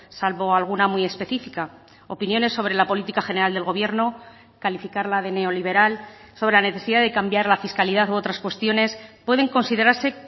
salvo alguna muy específica opiniones sobre la política general del gobierno calificarla de neoliberal sobre la necesidad de cambiar la fiscalidad u otras cuestiones pueden considerarse